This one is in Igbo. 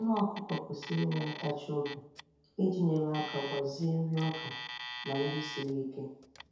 Anụ ọkụkọ kwesiri inwe ntachi obi iji nyere aka gbazee nri ọka na nri siri ike.